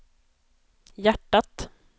hjärtat